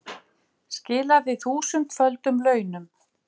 Skilaði þúsundföldum launum